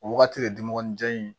O wagati de dimɔgɔninjɛ in ye